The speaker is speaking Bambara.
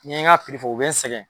N'y'e n ka fɔ u bɛ n sɛgɛn.